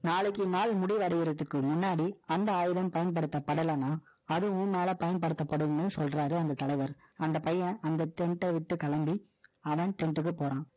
நாளைக்கு, நாள் முடிவடையறதுக்கு முன்னாடி, அந்த ஆயுதம் பயன்படுத்தப்படலைன்னா, அதுவும் மேல பயன்படுத்தப்படும்ன்னு சொல்றாரு, அந்த தலைவர் tent அ விட்டு கிளம்பி, அவன் tent க்கு போறான்.